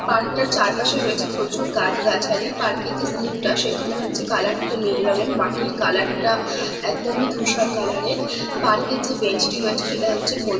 park -টার চারপাশে রয়েছে প্রচুর গাছগাছালিপার্কে যে স্লিপ -টা সেখানে হচ্ছে কালার -টা নীল রঙের মাটির কালার -টা একদমই ধূসর কালার -এর পার্কে যে বেন্চ -টি রয়েছে সেটা হচ্ছে হ--